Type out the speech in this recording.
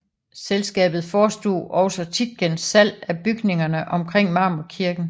Selskabet forestod også Tietgens salg af bygningerne omkring Marmorkirken